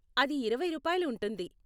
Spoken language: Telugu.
అది ఇరవై రూపాయలు ఉంటుంది.